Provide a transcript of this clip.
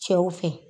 Cɛw fɛ